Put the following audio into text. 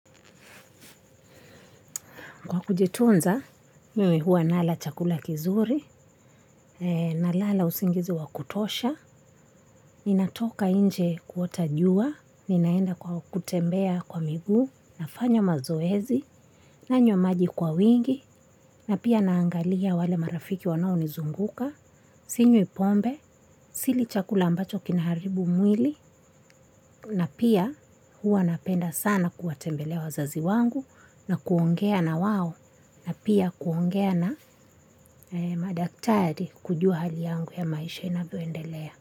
Kwa kujitunza, mimi huwa nala chakula kizuri, nalala usingizi wa kutosha, ninatoka nje kuota jua, ninaenda kwa kutembea kwa miguu, nafanya mazoezi, nanywa maji kwa wingi, na pia naangalia wale marafiki wanaonizunguka, sinywi pombe, sili chakula ambacho kinaharibu mwili, na pia huwa napenda sana kuwatembelea wazazi wangu na kuongea na wao na pia kuongea na madaktari. Kujua hali yangu ya maisha inavyoendelea.